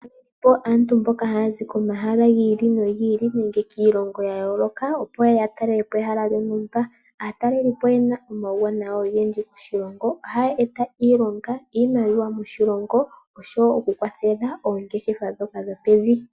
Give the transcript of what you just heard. Aantu mboka haya zi komahala giili nogiili nenge kiilongo yayooloka opo yeye ya talelepo ehala lyontumba. Aatalelipo oyena omawuwanawa gontumba. Ohaya eta iilonga, iimaliwa moshilongo oshowo oku kwathela oongeshefa dhoka dhopevi.